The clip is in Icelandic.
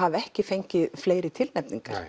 hafi ekki fengið fleiri tilnefningar